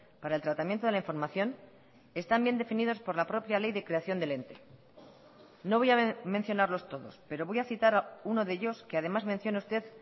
para el tratamiento de la información están bien definidos por la propia ley de creación del ente no voy a mencionarlos todos pero voy a citar uno de ellos que además menciona usted